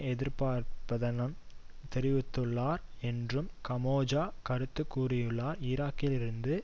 எதிர்ப்பார்ப்பதன் தெரிவித்துள்ளார் என்றும் கமெஜோ கருத்து கூறியுள்ளார் ஈராக்கிலிருந்து